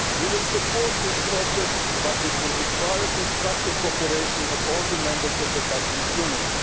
We will support this process, but it will require constructive cooperation by all the Members of the Customs Union.